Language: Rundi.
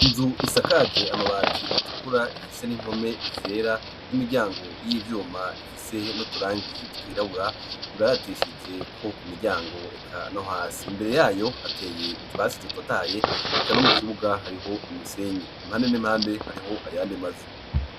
Inzu isakage amabati atukura, ifise n'impome zera, n'imiryango y'ivyuma ifise n'uturangi twirabura, ibaratishijeko ku miryango eka no hasi; imbere yayo hateye utwatsi dutotahaye, eka no mu kibuga hariho imisenyi, impande n'impande hariho ayande mazu.